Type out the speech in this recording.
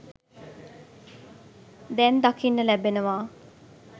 දැන් දකින්න ලැබෙනවා.